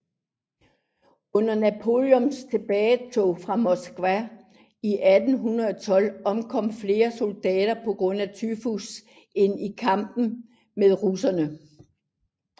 Under Napoleons tilbagetog fra Moskva i 1812 omkom flere soldater pga tyfus end i kamp med russerne